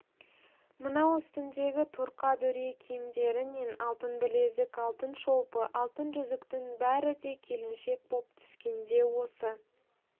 мынау үстіндегі торқа дүрия киімдері мен алтын білезік алтын шолпы алтын жүзіктің бәрі де келіншек боп түскенде осы